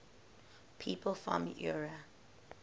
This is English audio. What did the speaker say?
people from eure